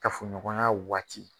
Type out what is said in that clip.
Kafo ɲɔgɔnya waati.